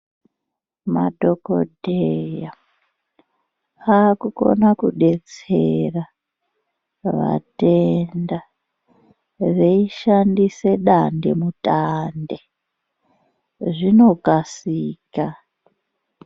Madhokodheyaa akukona kudetsera vatenda veishandisa dande mutande, zvinokasika.